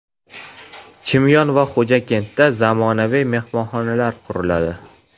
Chimyon va Xo‘jakentda zamonaviy mehmonxonalar quriladi.